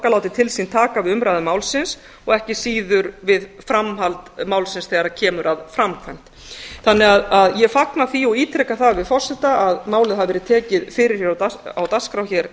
láti til sín taka við umræðu málsins og ekki síður við framhald málsins þegar kemur að framkvæmd gangi að ég fagna það og ítreka það við forseta að málið hafi verið tekið á dagskrá hér